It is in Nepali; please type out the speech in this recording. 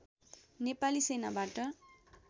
नेपाली सेनाबाट